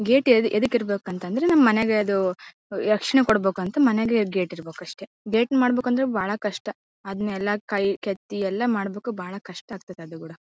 Gate ಎದಕ್ಕೆ ಇರ್ಬೇಕು ಅಂತ ಅಂದ್ರೆ ನಮ್ಮ್ ಮನೆಗೆ ಅದು ರಕ್ಷಣೆ ಕೊಡ್ಬೇಕು ಅಂತ ಮನೆಗೆ ಗೇಟ್ ಇರ್ಬೇಕು ಅಷ್ಟೇ. ಗೇಟ್ ಮಾಡಬೇಕು ಅಂದ್ರೆ ಬಾಳ ಕಷ್ಟ ಅದ್ನೇಲ್ಲ ಕೈ ಕೆತ್ತಿ ಎಲ್ಲ ಮಾಡಬೇಕು ಬಾಳ ಕಷ್ಟ ಆಗ್ತದೆ ಅದನ್ನ .